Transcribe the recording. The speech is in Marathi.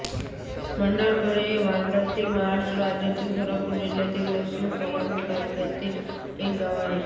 भंडारकवडे हे भारतातील महाराष्ट्र राज्यातील सोलापूर जिल्ह्यातील दक्षिण सोलापूर तालुक्यातील एक गाव आहे